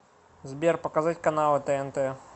сбер показать каналы тнт